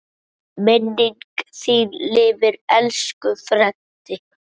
Minning þín lifir, elsku Freddi.